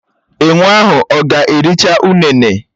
Enwé ahụ ọ̀ ga-ericha ụnene?